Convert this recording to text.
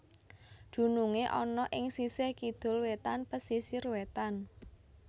Dunungé ana ing sisih kidul wétan pesisir wétan